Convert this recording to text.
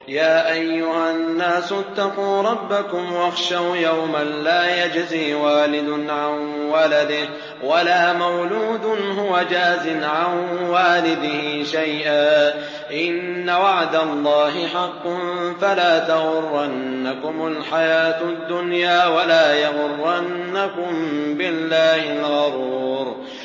يَا أَيُّهَا النَّاسُ اتَّقُوا رَبَّكُمْ وَاخْشَوْا يَوْمًا لَّا يَجْزِي وَالِدٌ عَن وَلَدِهِ وَلَا مَوْلُودٌ هُوَ جَازٍ عَن وَالِدِهِ شَيْئًا ۚ إِنَّ وَعْدَ اللَّهِ حَقٌّ ۖ فَلَا تَغُرَّنَّكُمُ الْحَيَاةُ الدُّنْيَا وَلَا يَغُرَّنَّكُم بِاللَّهِ الْغَرُورُ